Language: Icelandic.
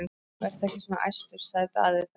Vertu ekki svona æstur, sagði Daði þá.